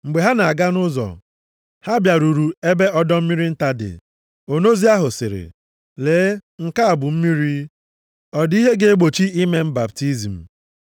Mgbe ha na-aga nʼụzọ, ha bịaruru ebe ọdọ mmiri nta dị. Onozi ahụ sịrị, “Lee, nke a bụ mmiri. Ọ dị ihe ga-egbochi ime m baptizim?”